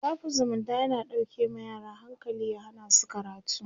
shafin zumunta yana dauƙe ma yara hankali ya Hana su karatu